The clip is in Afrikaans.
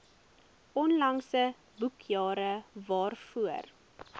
onlangse boekjare waarvoor